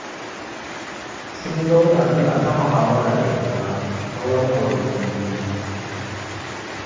Sun zauna suna ta muhawara da juna tsawon awanni biyu.